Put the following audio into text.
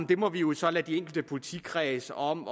det må vi jo så lade de enkle politikredse om